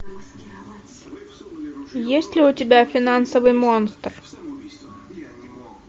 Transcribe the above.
есть ли у тебя финансовый монстр